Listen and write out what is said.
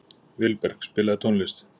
Vilberg, spilaðu tónlist.